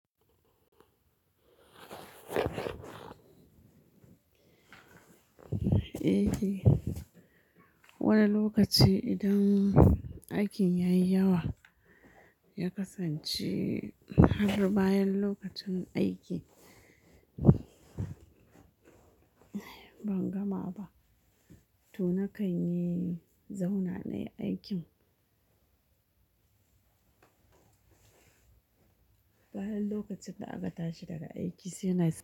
Eh wani lokaci idan aikin ya yi yawa ya kasance har bayan lokacin aiki. Ban gama ba to na kanyi zauna nayi aikin. Bayan lokacin na aƙata shi daga aiki sai na samu.